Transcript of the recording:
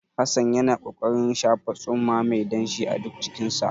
Hassan yana ƙoƙarin shafa tsumma mai danshi a duk jikinsa.